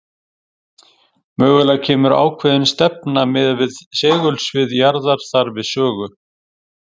Mögulega kemur ákveðin stefna miðað við segulsvið jarðar þar við sögu.